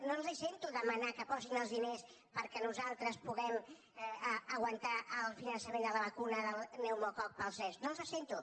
no els sento demanar que posin els diners perquè nosaltres puguem aguantar el finançament de la vacuna del pneumococ per als nens no els sento